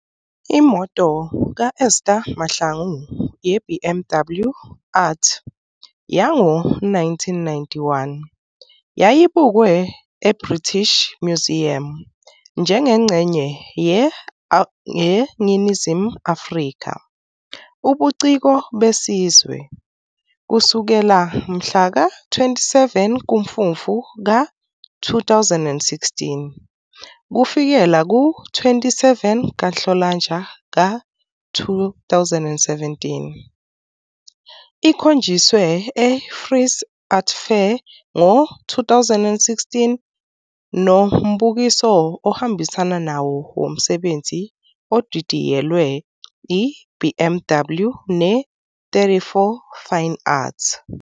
Imoto ka-Esther Mahlangu ye-BMW Art yango-1991 yayibukwe eBritish Museum njengengxenye 'yeNingizimu Afrika, ubuciko besizwe', kusukela mhla ka-27 kuMfumfu ka-2016 - kufikela ku-27 kaNhlolanja ka-2017. ikhonjiswe eFrieze Art Fair ngo-2016 nombukiso ohambisana nawo womsebenzi odidiyelwe I-BMW ne-34FineArt.